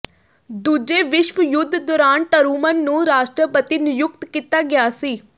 ਦੂਜੇ ਵਿਸ਼ਵ ਯੁੱਧ ਦੌਰਾਨ ਟਰੂਮਨ ਨੂੰ ਰਾਸ਼ਟਰਪਤੀ ਨਿਯੁਕਤ ਕੀਤਾ ਗਿਆ ਸੀ